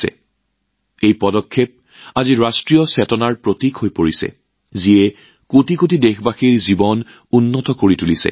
আজি এই পদক্ষেপ জাতীয় মনোভাৱৰ প্ৰতীক হৈ পৰিছে যিয়ে কোটি কোটি দেশবাসীৰ জীৱন উন্নত কৰিছে